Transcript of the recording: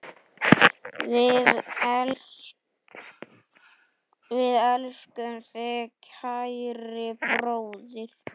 Við elskum þig, kæri bróðir.